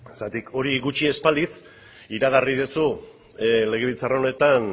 zergatik hori gutxi ez balitz iragarri duzu legebiltzar honetan